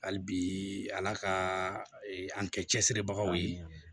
Hali bi ala ka an kɛ cɛsiribagaw ye